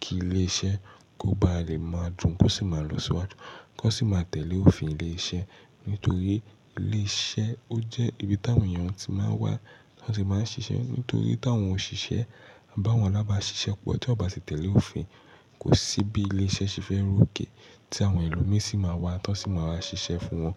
kí ilé iṣẹ́ kó ba lè máa dùn, kó sì máa lọ síwájú, kó sì máa tẹ̀lé òfin ilé iṣẹ́. Nítorí ilé iṣẹ́ ó jẹ́ ibi táwọn èèyàn tí máa wà, tí wọ́n sì máa ń ṣiṣẹ́. Nítorí tí àwọn òṣìṣẹ́ àbí àwọn alábàáṣiṣẹ́ pọ̀ tí wọ́n ò bá tẹ̀lé òfin, kò sí bí ilé iṣẹ́ ṣe fẹ́ rú òkè tí àwọn ẹlòmíràn sì máa wá, táwọn sì máa wá ṣiṣẹ́ fún wọn.